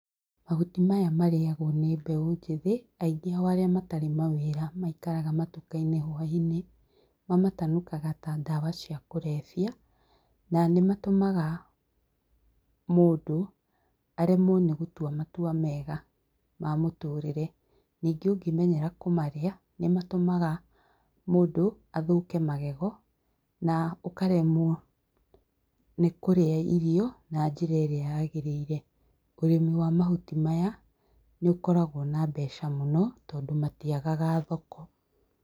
Mahuti maya marĩagwo nĩ mbeũ njĩthĩ, aingĩ ao arĩa matarĩ mawĩra maikaraga matuka-inĩ hwaĩ-inĩ. Mamatanukaga ta dawa cia kũrebia, na nĩ matũmaga, mũndũ aremwo nĩ gũtua matua mega ma mũtũrĩre. Ningĩ ũngĩmenyera kũmarĩa, nĩ matũmaga mũndũ athũke magego na ũkaremwo nĩ kũrĩa irio, na njĩra ĩrĩa yagĩrĩire. ũrĩmi wa mahuti maya, nĩ ũkoragwo na mbeca mũno tondũ matiagaga thoko.